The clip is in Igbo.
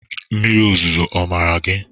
Mmiri ozuzo ọ mara gị?